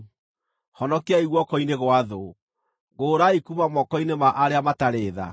honokiai guoko-inĩ gwa thũ, ngũũrai kuuma moko-inĩ ma arĩa matarĩ tha’?